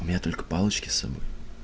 у меня только палочки с собой